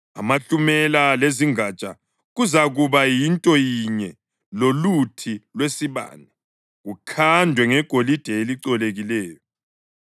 Amahlumela lezingatsha kuzakuba yinto yinye loluthi lwesibane, kukhandwe ngegolide elicolekileyo.